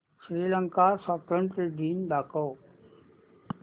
श्रीलंका स्वातंत्र्य दिन दाखव